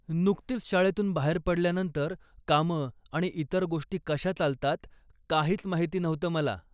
नुकतीच शाळेतून बाहेत पडल्यानंतर, कामं आणि इतर गोष्टी कशा चालतात, काहीच माहिती नव्हतं मला .